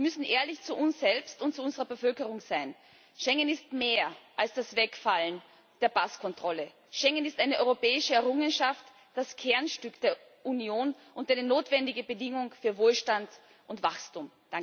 Wir müssen ehrlich zu uns selbst und zu unserer Bevölkerung sein Schengen ist mehr als das Wegfallen der Passkontrolle, Schengen ist eine europäische Errungenschaft, das Kernstück der Union und eine notwendige Bedingung für Wohlstand und Wachstum.